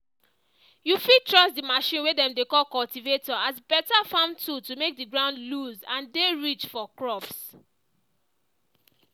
you fit trust the machine way dem dey call cultivator as beta farm tool to make the ground loose and dey rich for crops.